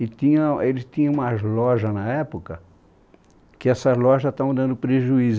E tinha, eles tinham umas lojas na época, que essas lojas estavam dando prejuízo.